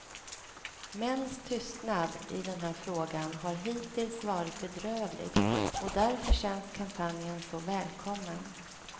Mäns tystnad i den här frågan har hittills varit bedrövlig, och därför känns kampanjen så välkommen.